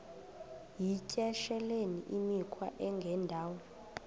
yityesheleni imikhwa engendawo